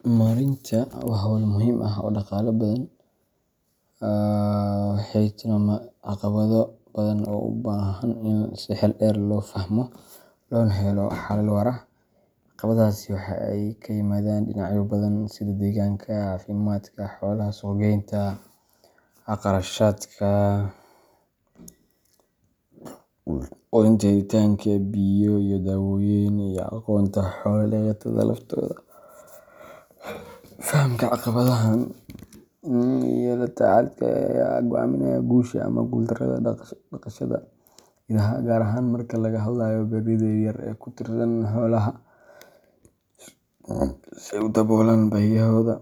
Maareynta idaha waa hawl muhiim ah oo dhaqaale badan laga heli karo, balse sidoo kale waxay la timaaddaa caqabado badan oo u baahan in si xeel dheer loo fahmo loona helo xalal waara. Caqabadahaasi waxay ka yimaadaan dhinacyo badan sida deegaanka, caafimaadka xoolaha, suuq-geynta, kharashaadka quudinta, helitaanka biyo iyo daawooyin, iyo aqoonta xoolo-dhaqatada laftooda. Fahamka caqabadahan iyo la tacaalkooda ayaa go’aaminaya guusha ama guuldarrada dhaqashada idaha, gaar ahaan marka laga hadlayo beeraleyda yar yar ee ku tiirsan xoolaha si ay u daboolaan baahiyahooda